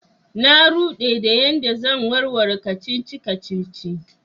Na rude da yan da zan warware kacici-kacici.